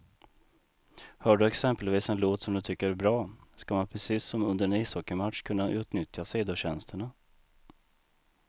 Hör du exempelvis en låt som du tycker är bra, ska man precis som under en ishockeymatch kunna utnyttja sidotjänsterna.